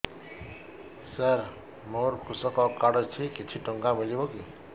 ସାର ମୋର୍ କୃଷକ କାର୍ଡ ଅଛି କିଛି ଟଙ୍କା ମିଳିବ କି